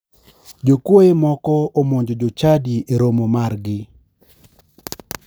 Jokuoye moko omonjo jochadi e romo margi.